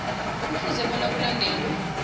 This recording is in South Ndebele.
kufuze bona kulandelwe